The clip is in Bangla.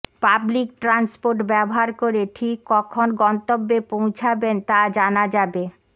পাবলিক ট্রান্সপোর্ট ব্যবহার করে ঠিক কখন গন্তব্যে পৌঁছাবেন তা জানা যাবে